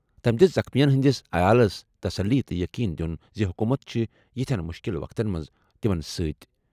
تٔمۍ دِژ زخمیَن ہٕنٛدٮ۪ن عیالَن تسلی تہٕ یقین دِیُن زِ حکوٗمت چھِ یَتھ مُشکِل وقتن منٛز تِمَن سۭتۍ۔